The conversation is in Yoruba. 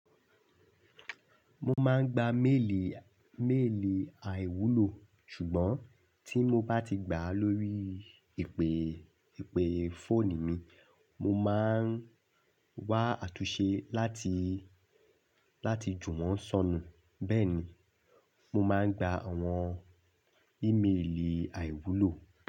Mo máa ń gba méèlì, méèlì àìwúlò ṣùgbọ́n tí mo bá ti gbà á lórí ìpè, ìpè fóònù mi, mo máa ń wá àtúnṣe láti, láti jù wọ́n sọnù. Bẹ́ẹ̀ ni, mo máa ń gba àwọn ímélì àìwúlò.